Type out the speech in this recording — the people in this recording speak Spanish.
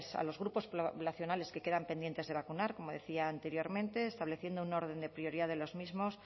a los grupos poblacionales que quedan pendientes de vacunar como decía anteriormente estableciendo un orden de prioridad de los mismos